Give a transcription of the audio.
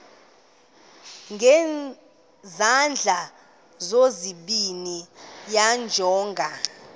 ngezandla zozibini yamjonga